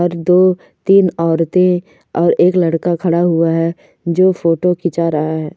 और दो तीन औरते और एक लड़का खड़ा हुआ है जो फोटो खींचा रहा है।